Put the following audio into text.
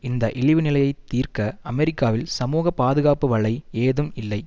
இந்த இழி நிலையை தீர்க்க அமெரிக்காவில் சமூக பாதுகாப்பு வலை ஏதும் இல்லை